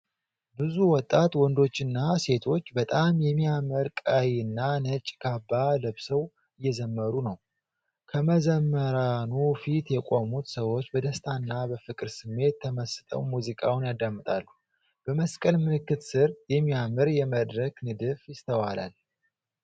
ብዙ ወጣት ወንዶችና ሴቶች በጣም የሚያምር ቀይና ነጭ ካባ ለብሰው እየዘመሩ ነው። ከመዘምራኑ ፊት የቆሙት ሰዎች በደስታና በፍቅር ስሜት ተመስጠው ሙዚቃውን ያዳምጣሉ። በመስቀል ምልክት ስር፣ የሚያምር የመድረክ ንድፍ ይስተዋላል።